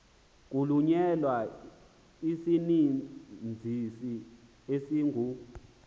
kuhlonyelwa isizinzisi esingu